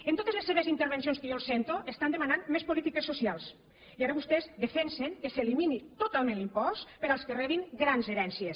en totes les seves intervencions que jo el sento estan demanant més polítiques socials i ara vostès defensen que s’elimini totalment l’impost per als que rebin grans herències